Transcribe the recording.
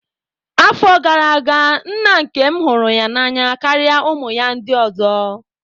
Afọ gara aga, nna nkem hụrụ ya n'anya karịa ụmụ ya ndị ọzọ.